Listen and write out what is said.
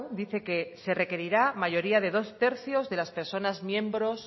dice que se requerirá mayoría de dos tercios de las personas miembros